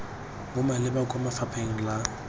bo maleba kwa lefapheng la